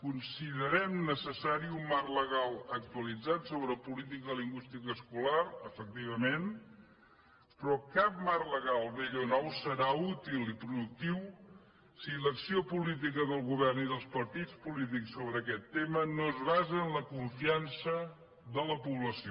considerem neces·sari un marc legal actualitzat sobre política lingüística escolar efectivament però cap marc legal vell o nou serà útil i productiu si l’acció política del govern i dels partits polítics sobre aquest tema no es basa en la con·fiança de la població